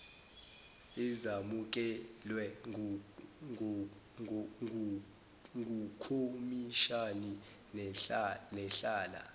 ezamukelwe ngukhomishani nehlala